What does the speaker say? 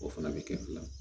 O fana bɛ kɛ fila ye